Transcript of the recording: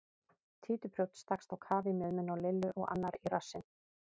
Títuprjónn stakkst á kaf í mjöðmina á Lillu og annar í rassinn.